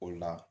O la